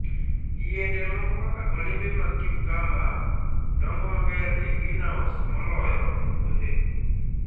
Yiende moko kaka olembe mag cucumber, dongo maber e greenhouse moloyo e puothe.